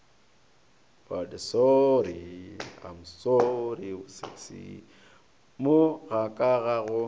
mo ga ka ga go